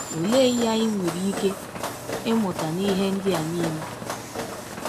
Olee ihe anyị nwere ike ịmụta n’ihe ndị a niile?